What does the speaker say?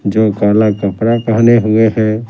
जो काला कपड़ा पहने हुए हैं ।